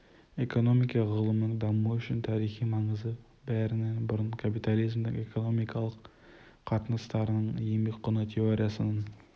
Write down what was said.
экономика ғылымының дамуы үшін тарихи маңызы бәрінен бұрын капитализмнің экономикалық қатынастарын еңбек құны теориясының